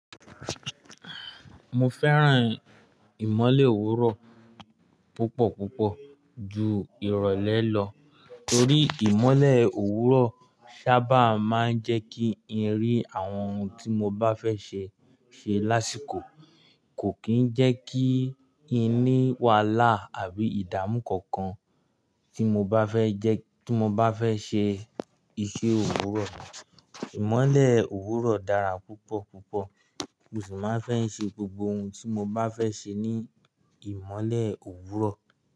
Mo fẹ́ràn ìmole òwúrọ̀ púpọ̀ púpọ̀ ju ìrọ̀lẹ́ lọ torí ìmole òwúrọ̀ sábà máa ń jẹ kí n rí àwọn ohun tí mo bá fẹ́ ṣe ṣe lásìkò, kò kí ń jẹ́ kí n ní wàhálà àbí ìdáàmú kankan tí mo bá fẹ́ jẹ́, tí mo bá fẹ́ ṣe iṣẹ́ òwúrọ̀. Ìmole òwúrọ̀ dára púpọ̀ púpọ̀, mo sì máa ń fẹ́ ṣe gbogbo ohun tí mo bá fẹ́ ṣe ní ìmole òwúrọ̀